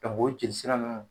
Ka b'o jelisira nunnu